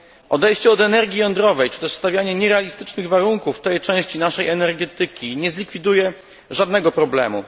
Odejście od energii jądrowej, czy też stawianie nierealistycznych warunków dla tej części naszej energetyki nie zlikwiduje żadnego problemu.